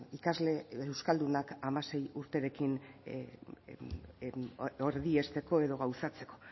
ikasle euskaldunak hamasei urterekin erdiesteko edo gauzatzeko